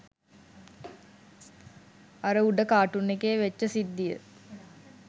අර උඩ කාටූන් එකේ වෙච්ච සිද්දිය